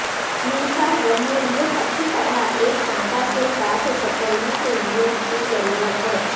میثاق جمہوریت اچھی طرح ایک کانٹا کے ساتھ کچلنے کے لئے کی ضرورت ہے